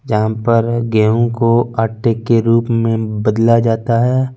यहा पर गेहू को आटे के रूप में बदला जाता है ।